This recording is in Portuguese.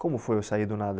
Como foi o sair do nada?